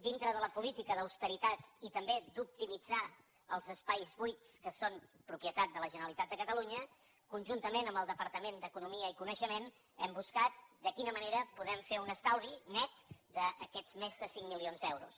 dintre de la política d’austeritat i també d’optimitzar els espais buits que són propietat de la generalitat de catalunya conjuntament amb el departament d’economia i coneixement hem buscat de quina manera podem fer un estalvi net d’aquests més de cinc milions d’euros